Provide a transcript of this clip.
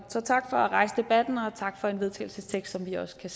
så tak for at rejse debatten og tak for en vedtagelsestekst som vi også kan